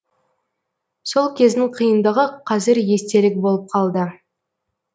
сол кездің қиындығы қазір естелік болып қалды